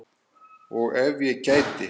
Og ef ég gæti?